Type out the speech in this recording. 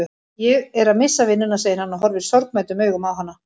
Ég er að missa vinnuna, segir hann og horfir sorgmæddum augum á hana.